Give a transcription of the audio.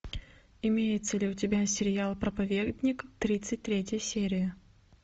имеется ли у тебя сериал проповедник тридцать третья серия